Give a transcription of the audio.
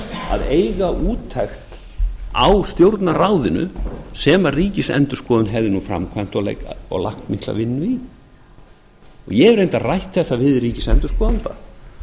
að eiga úttekt á stjórnarráðinu sem ríkisendurskoðun hefði framkvæmt og lagt mikla vinnu í ég hef reyndar rætt þetta við ríkisendurskoðanda